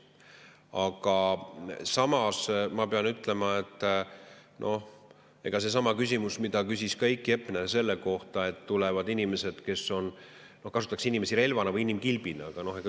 Aga samas ma pean ütlema, et ka seesama küsimus, mida küsis Heiki Hepner: tulevad inimesed, keda kasutatakse relvana või inimkilbina.